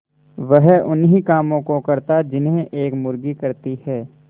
वह उन्ही कामों को करता जिन्हें एक मुर्गी करती है